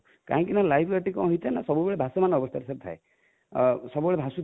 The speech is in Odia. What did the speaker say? କାହିଁ କି ନା live jacket ଟା କଣ ହେଇଥାଏ ନା ସବୁ ବେଳେ ଭାସମାନ ଅବସ୍ଥାରେ sir ଥାଏ|ସବୁ ବେଳେ ଭାସୁଥାଏ